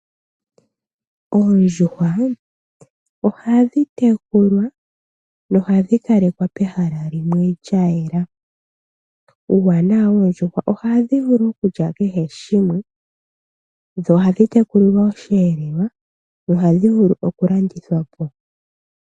Oondjuhwa ohadhi tekulwa nohadhi kalekwa pehala limwe lya yela. Uuwanawa woondjuhwa ohadhi vulu okulya kehe shimwe dho ohadhi tekulilwa osheelelwa.